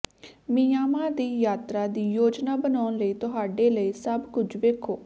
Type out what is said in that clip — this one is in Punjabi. ਮਿਆਂਮਾਰ ਦੀ ਯਾਤਰਾ ਦੀ ਯੋਜਨਾ ਬਣਾਉਣ ਲਈ ਤੁਹਾਡੇ ਲਈ ਸਭ ਕੁਝ ਵੇਖੋ